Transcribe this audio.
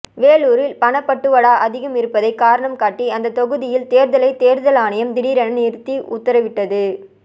வேலூரில் பணப்பட்டுவாடா அதிகம் இருப்பதை காரணம் காட்டி அந்த தொகுதியில் தேர்தலை தேர்தல் ஆணையம் திடீரென நிறுத்தி உத்தரவிட்டது